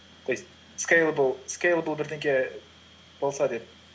то есть скейлебл бірдеңе болса деп